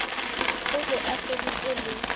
o be a feditše le